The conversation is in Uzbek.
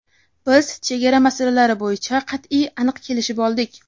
Biz chegara masalalari bo‘yicha qat’iy va aniq kelishib oldik.